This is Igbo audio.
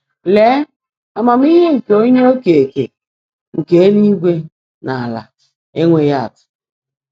Ée, ámaàmíhé nkè Ónyé Ókeèké nkè élúigwè nà álá énwéghị́ ạ́tụ́.